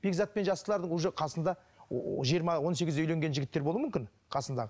бекзатпен жастылардың уже қасында жиырмы он сегізде үйленген жігіттер болуы мүммкін қасындағы